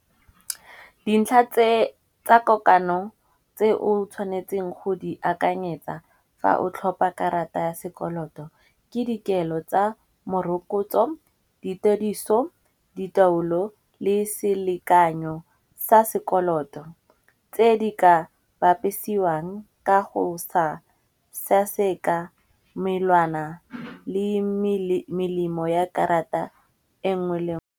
Dintlha tse tsa kokano tse o tshwanetseng go di akanyetsa fa o tlhopa karata ya sekoloto. Ke dikelo tsa morokotso, ditediso, di taolo le selekanyo sa sekoloto tse di ka bapisiwang ka go sa seaseka melwana le melemo ya karata e nngwe le nngwe.